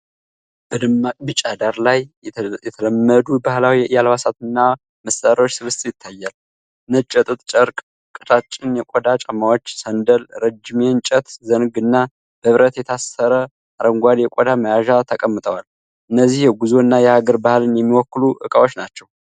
በደማቅ ቢጫ ዳራ ላይ የተለመዱ ባህላዊ የአልባሳትና መሳሪያዎች ስብስብ ይታያል። ነጭ የጥጥ ጨርቅ፣ ቀጫጭን የቆዳ ጫማዎች (ሰንደል)፣ ረጅም የእንጨት ዘንግ እና በብረት የታሰረ አረንጓዴ የቆዳ መያዣ ተቀምጠዋል። እነዚህ የጉዞ እና የሀገር ባህልን የሚወክሉ ዕቃዎች ናቸው።